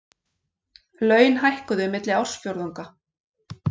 Laun hækkuðu milli ársfjórðunga